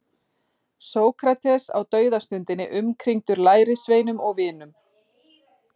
Sókrates á dauðastundinni umkringdur lærisveinum og vinum.